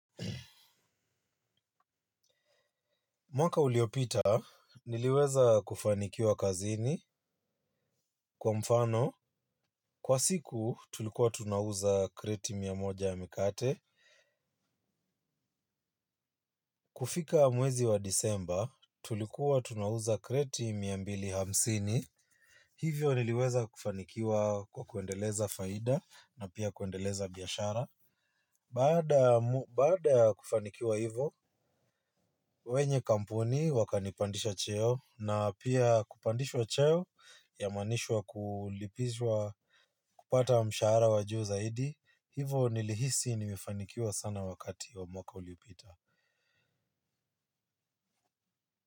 Mwaka uliopita, niliweza kufanikiwa kazini kwa mfano. Kwa siku, tulikuwa tunauza kreti mia moja ya mikate. Kufika mwezi wa disemba, tulikuwa tunauza kreti mia mbili hamsini. Hivyo niliweza kufanikiwa kwa kuendeleza faida na pia kuendeleza biashara. Baada kufanikiwa hivyo, wenye kampuni wakanipandisha cheo na pia kupandishwa cheo inamaanisha kulipizwa kupata mshahara wajuu zaidi. Hivyo nilihisi nimefanikiwa sana wakati wa mwaka uliopita.